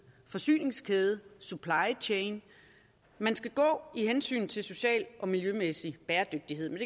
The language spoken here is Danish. forsyningskæde supply chain man skal gå i hensynet til social og miljømæssig bæredygtighed men